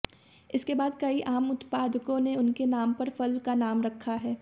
इसके बाद कई आम उत्पादकों ने उनके नाम पर फल का नाम रखा है